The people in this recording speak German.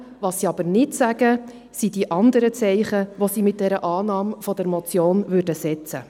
Was sie aber nicht sagen, betrifft die anderen Zeichen, die sie im Fall der Annahme der Motion setzen würden.